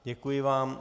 Děkuji vám.